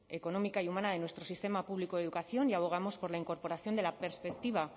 económica y humana de nuestro sistema público de educación y abogamos por la incorporación de la perspectiva